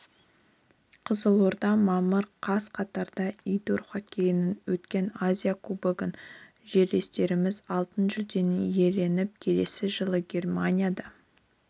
қызылорда мамыр қаз катарда индор хоккейден өткен азия кубогында жерлестеріміз алтын жүлдені иеленіп келесі жылы германияда